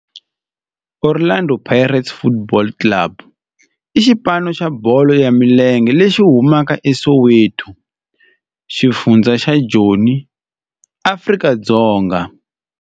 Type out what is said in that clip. Orlando Pirates Football Club i xipano xa bolo ya milenge lexi humaka eSoweto, xifundzha xa Joni, Afrika-Dzonga.